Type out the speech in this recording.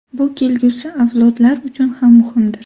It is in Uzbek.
Bu kelgusi avlodlar uchun ham muhimdir.